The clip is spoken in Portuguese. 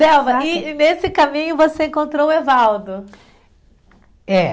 Delba, e nesse caminho você encontrou o Evaldo? É